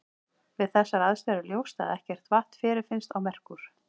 Við þessar aðstæður er ljóst að ekkert vatn fyrirfinnst á Merkúr.